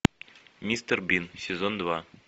мистер бин сезон два